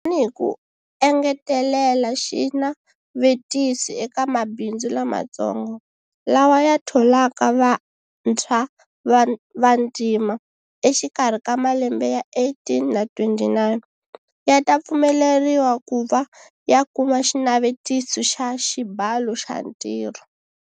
Tanihi ku engetelela xinavetisi eka mabindzu lamatsongo, lawa ya tholaka vantshwa va vantima, exikarhi ka malembe ya 18 na 29, ya ta pfumeleriwa ku va ya kuma Xinavetisi xa Xibalo xa Ntirho.